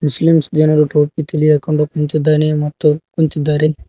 Muslims ಜನರು ಟೋಪಿ ತಲೆಗೆ ಹಾಕೊಂಡು ಕುಂತಿದ್ದಾನೆ ಮತ್ತು ಕುಂತಿದ್ದಾರೆ.